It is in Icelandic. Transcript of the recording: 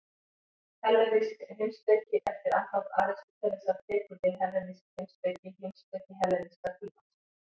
Hellenísk heimspeki Eftir andlát Aristótelesar tekur við hellenísk heimspeki, heimspeki helleníska tímans.